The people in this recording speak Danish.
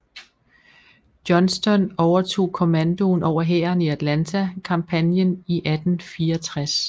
Johnston overtog kommandoen over hæren i Atlanta kampagnen i 1864